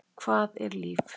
Hvað er líf?